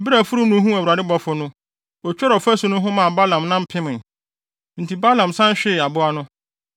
Bere a afurum no huu Awurade bɔfo no, otwerii ɔfasu no ho maa Balaam nan pemee. Enti Balaam san hwee aboa no.